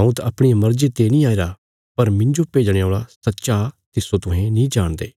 हऊँ त अपणिया मर्जिया ते नीं आईरा पर मिन्जो भेजणे औल़ा सच्चा तिस्सो तुहें नीं जाणदे